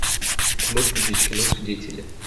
ты можешь включить кино свидетели